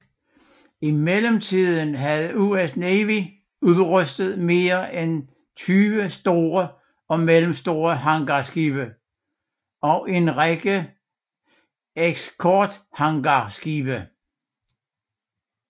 I mellemtiden havde US Navy udrustet mere end 20 store og middelstore hangarskibe og en række eskortehangarskibe